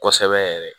Kosɛbɛ yɛrɛ